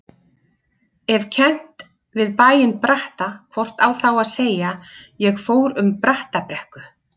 Ef kennt við bæinn Bratta hvort á þá að segja: ég fór um Brattabrekku.